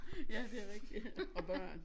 Ja det rigtigt ja og børn